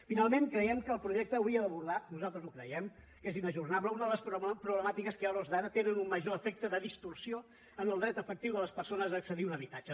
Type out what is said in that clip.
finalment creiem que el projecte hauria d’abordar nosaltres ho creiem que és inajornable una de les problemàtiques que a hores d’ara té un major efecte de distorsió en el dret efectiu de les persones a accedir a un habitatge